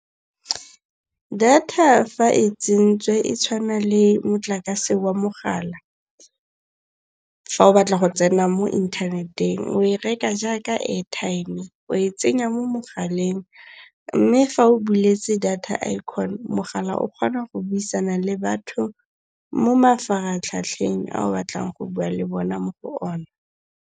Data fa e tsentswe e tshwana le motlakase wa mogala. Fa o batla go tsena mo inthaneteng o e reka jaaka airtime-e. O e tsenya mo mogaleng. Mme fa o buletse data icon, mogala o kgona go buisana le batho mo mafaratlhatlheng ao batlang go bua le bona mo go one.